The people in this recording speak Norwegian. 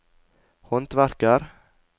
håndverker